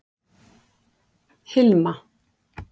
Hilma